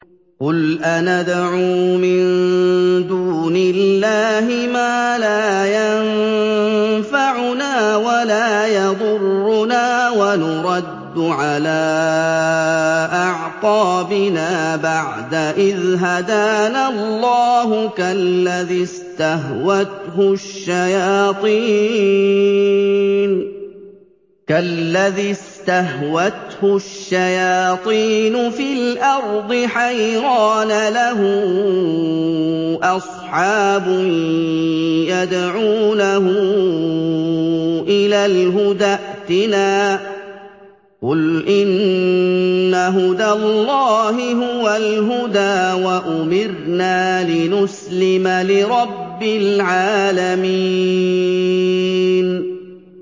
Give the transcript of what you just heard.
قُلْ أَنَدْعُو مِن دُونِ اللَّهِ مَا لَا يَنفَعُنَا وَلَا يَضُرُّنَا وَنُرَدُّ عَلَىٰ أَعْقَابِنَا بَعْدَ إِذْ هَدَانَا اللَّهُ كَالَّذِي اسْتَهْوَتْهُ الشَّيَاطِينُ فِي الْأَرْضِ حَيْرَانَ لَهُ أَصْحَابٌ يَدْعُونَهُ إِلَى الْهُدَى ائْتِنَا ۗ قُلْ إِنَّ هُدَى اللَّهِ هُوَ الْهُدَىٰ ۖ وَأُمِرْنَا لِنُسْلِمَ لِرَبِّ الْعَالَمِينَ